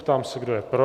Ptám se, kdo je pro.